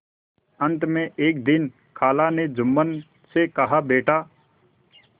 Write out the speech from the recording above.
अंत में एक दिन खाला ने जुम्मन से कहाबेटा